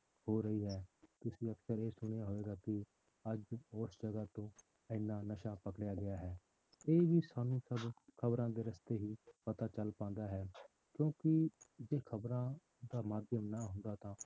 ਹੋ ਰਹੀ ਹੈ ਤੁਸੀਂ ਅਕਸਰ ਇਹ ਸੁਣਿਆ ਹੋਵੇਗਾ ਕਿ ਅੱਜ ਉਸ ਜਗ੍ਹਾ ਤੋਂ ਇੰਨਾ ਨਸ਼ਾ ਪਕੜਿਆ ਗਿਆ ਹੈ ਇਹ ਵੀ ਸਾਨੂੰ ਸਭ ਖ਼ਬਰਾਂ ਦੇ ਰਸਤੇ ਹੀ ਪਤਾ ਚੱਲ ਪਾਉਂਦਾ ਹੈ, ਕਿਉਂਕਿ ਜੇ ਖ਼ਬਰਾਂ ਦਾ ਮਾਧਿਅਮ ਨਾ ਹੁੰਦਾ ਤਾਂ